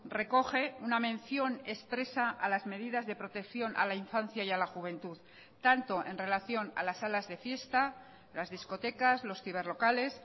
recoge una mención expresa a las medidas de protección a la infancia y a la juventud tanto en relación a las salas de fiesta las discotecas los ciberlocales